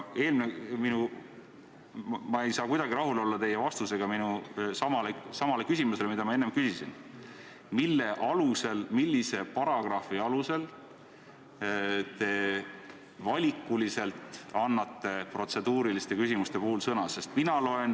Ma ei saa kuidagi rahul olla teie vastusega minu küsimusele, mille ma enne esitasin: millise paragrahvi alusel annate te protseduuriliste küsimuste puhul valikuliselt sõna?